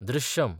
Drishyam